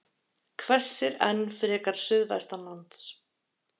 Hvessir enn frekar suðvestanlands